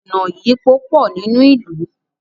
ọnà ìyípo pọ nínú ilú